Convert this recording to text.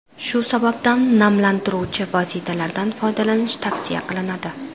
Shu sabab namlantiruvchi vositalardan foydalanish tavsiya qilinadi.